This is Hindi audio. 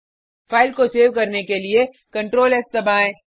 फाइल को सेव करने के लिए Ctrl एस दबाएँ